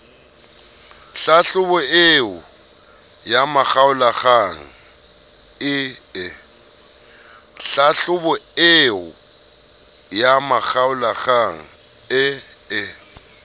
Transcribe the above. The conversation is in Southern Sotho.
hlahlobo eo ya makgaolakgang ee